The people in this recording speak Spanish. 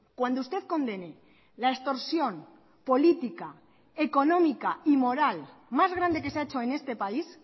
cuando usted condene la extorsión política económica y moral más grande que se ha hecho en este país